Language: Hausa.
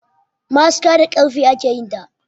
Ma'aski da karfe ake yinsa